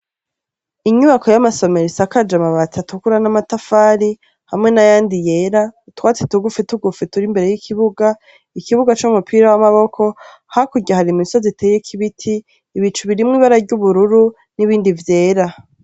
Inyubako y'amasomero ishakaje amabati atukura n'amatafari hamwe n'ayandi yera. Utwatsi tugufi tugufi turi imbere y'ikibuga. Ikibuga c'umupira w'amaboko. Hakurya hari imisozi iteyeko ibiti; ibicu birimwo ibara ry'ubururu be n’irindi ryera.